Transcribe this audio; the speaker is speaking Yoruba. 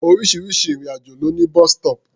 Oríṣiríṣi ètò ìrìn-àjò ló ní bus-stop.